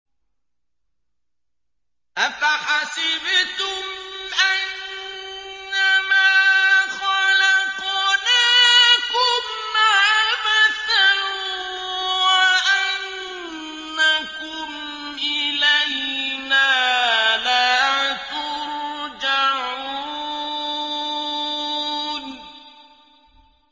أَفَحَسِبْتُمْ أَنَّمَا خَلَقْنَاكُمْ عَبَثًا وَأَنَّكُمْ إِلَيْنَا لَا تُرْجَعُونَ